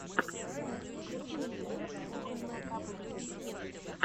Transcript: включи мне рецепт кухонного кб